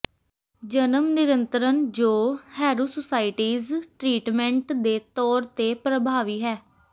ਜਨਮ ਨਿਯੰਤਰਣ ਜੋ ਹੈਰੁਸੂਸਟੀਜ਼ ਟਰੀਟਮੈਂਟ ਦੇ ਤੌਰ ਤੇ ਪ੍ਰਭਾਵੀ ਹੈ